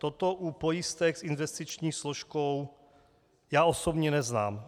Toto u pojistek s investiční složkou já osobně neznám.